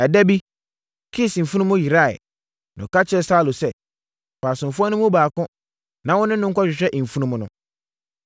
Ɛda bi Kis mfunumu yeraeɛ, na ɔka kyerɛɛ Saulo sɛ, “Fa asomfoɔ no mu baako, na wone no nkɔhwehwɛ mfunumu no.”